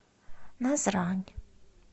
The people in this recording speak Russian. назрань